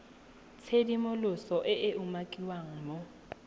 tshedimosetso e e umakiwang mo